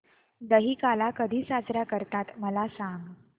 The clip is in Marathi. दहिकाला कधी साजरा करतात मला सांग